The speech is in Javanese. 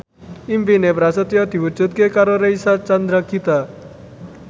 impine Prasetyo diwujudke karo Reysa Chandragitta